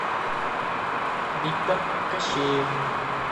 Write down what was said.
виктор кощеев